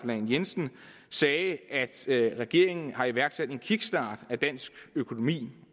lahn jensen sagde at regeringen har iværksat en kickstart af dansk økonomi